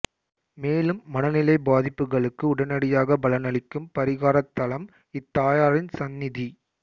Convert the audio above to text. மேலும் மனநிலை பாதிப்புகளுக்கு உடனடியாக பலனளிக்கும் பரிகாரத் தலம் இத்தாயாரின் சந்நிதி